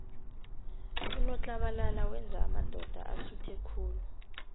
unotlabalala wenza amadoda asuthe khulu